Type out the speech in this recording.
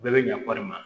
Bɛɛ bɛ ɲa kɔɔri ma